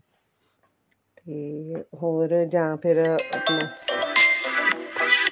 ਤੇ ਹੋਰ ਜਾ ਫ਼ੇਰ ਆਪਣੇ [music[